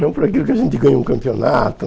Não por aquilo que a gente ganhou um campeonato.